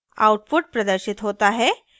output प्रदर्शित होता हैः